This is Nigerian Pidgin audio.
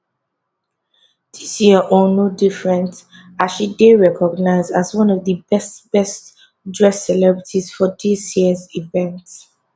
dis year own no different as she dey recognised as one of di best best dressed celebrity for dis year event